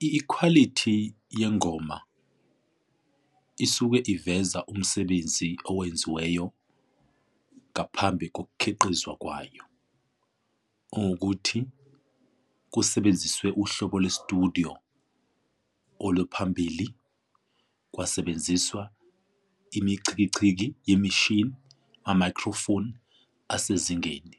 Ikhwalithi yengoma isuke iveza umsebenzi owenziweyo ngaphambi kokukhiqiza kwayo, owokuthi kusebenziswe uhlobo lwestudiyo oluphambili. Kwasebenziswa imichikichiki yemishini amayikhrofoni asezingeni.